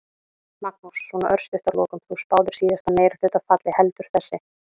Magnús: Svona örstutt að lokum, þú spáðir síðasta meirihluta falli, heldur þessi?